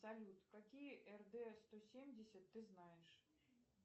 салют какие рд сто семьдесят ты знаешь